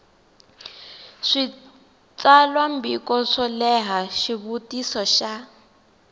switsalwambiko swo leha xivutiso xa